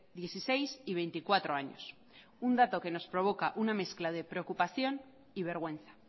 dieciséis y veinticuatro años un dato que nos provoca una mezcla de preocupación y vergüenza